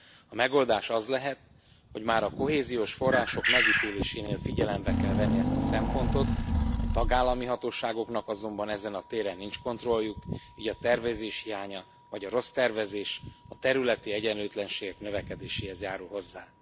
A megoldás az lehet, hogy már a kohéziós források megítélésénél figyelembe kell venni ezt a szempontot, a tagállami hatóságoknak azonban ezen a téren nincs kontrolljuk, így a tervezés hiánya vagy a rossz tervezés a területi egyenlőtlenségek növekedéséhez járul hozzá.